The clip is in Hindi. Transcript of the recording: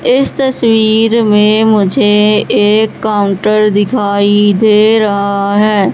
इस तस्वीर मुझे एक काउंटर दिखाई दे रहा है।